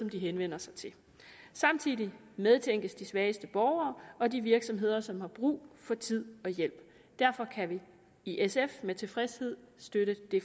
de henvender sig til samtidig medtænkes de svageste borgere og de virksomheder som har brug for tid og hjælp derfor kan vi i sf med tilfredshed støtte det